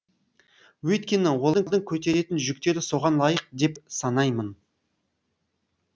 өйткені олардың көтеретін жүктері соған лайық деп санаймын